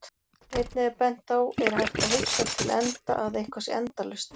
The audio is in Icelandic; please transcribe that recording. Einnig er bent á Er hægt að hugsa til enda að eitthvað sé endalaust?